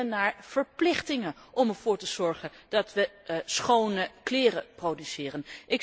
Wij willen naar verplichtingen om ervoor te zorgen dat wij schone kleren produceren.